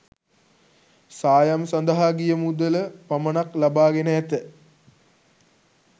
සායම් සඳහා ගිය මුදල පමණක් ලබා ගෙන ඇත.